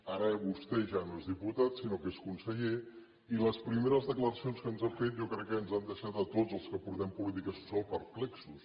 ara vostè ja no és diputat sinó que és conseller i les primeres declaracions que ens ha fet jo crec que ja ens han deixat a tots els que portem polítiques socials perplexos